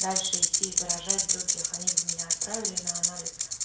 дальше идти и заражать других они бы меня отправили на анализ